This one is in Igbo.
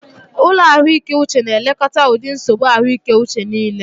Ụlọ ahụike uche na elekọta ụdị nsogbu ahụike uche niile.